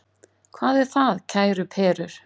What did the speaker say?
Hvað er það, kæru perur?